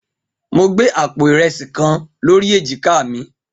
Mo gbé àpò ìrẹsì kan lórí èjìká mi.